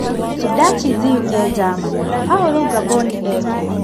(Sudachi Ziyu - e-Njamanĩ) Baũrũ Ngamboni ekũ?